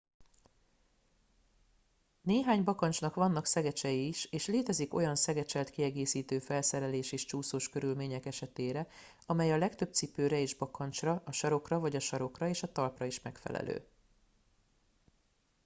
néhány bakancsnak vannak szegecsei is és létezik olyan szegecselt kiegészítő felszerelés is csúszós körülmények esetére amely a legtöbb cipőre és bakancsra a sarokra vagy a sarokra és a talpra is megfelelő